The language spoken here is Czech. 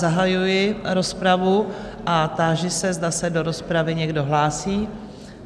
Zahajuji rozpravu a táži se, zda se do rozpravy někdo hlásí?